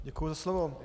Děkuji za slovo.